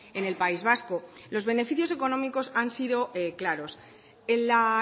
en el país vasco los beneficios económicos han sido claros en la